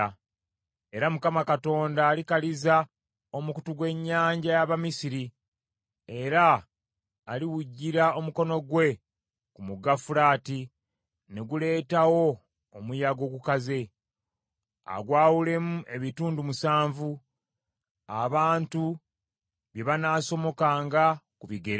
Era Mukama Katonda alikaliza omukutu gw’ennyanja y’Abamisiri; era aliwujira omukono gwe ku mugga Fulaati ne guleetawo omuyaga ogukaza, agwawulemu ebitundu musanvu abantu bye banaasomokanga ku bigere.